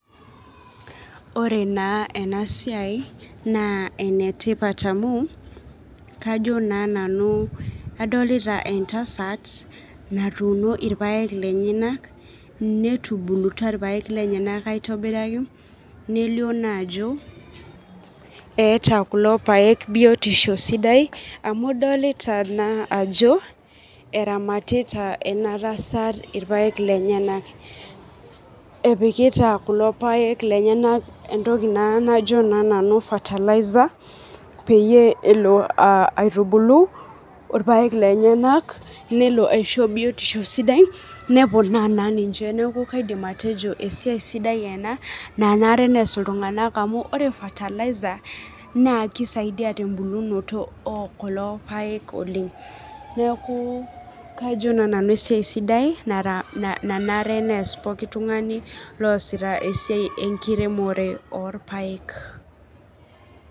Ore naa enasiai naa enetipat amu kajo naa nanu adolita entasat natuuno ilpayek lenyanak, netubulutua ilpayek lenyanak aitobiraki, nelio naajo, eeta kulo payek biotisho sidai amu idolita naa ajo eramatita ena tasat ilpayek lenyanak. Epikita kulo payek lenyanak entoki naaa najo nanu fertilizer peyie elo aitubulu ilpayek lenyanak nelo aisho biotisho sidai, neponaa naa ninje. Neeku kaidim atejo esiai sidai ena nanare neas iltunganak amu ore fertilizer naa kisaidia tembulunoto oo kulo payek oleng', neeku kajo naa nanu kesiai sidai nanare neas pooki tungani oasita esiai enkiremore oopayek.